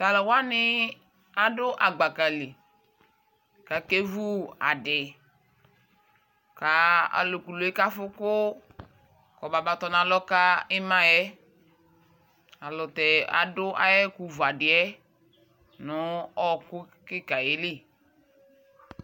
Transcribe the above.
tʋ alʋ wani adʋ agbakali kʋ akɛ vʋ adi kʋ alʋ kʋlʋɛ kʋ aƒʋ kʋ ɔbaba tɔnʋ alɔ ka imaɛ alʋtɛ adʋ ayi ɛkʋ vʋ adiɛ nʋ ɔkʋ kikaaɛ li.